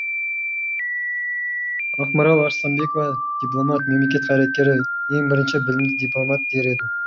ақмарал арыстанбекова дипломат мемлекет қайраткері ең бірінші білімді дипломат дер едім